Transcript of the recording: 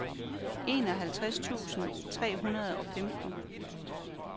enoghalvtreds tusind tre hundrede og femten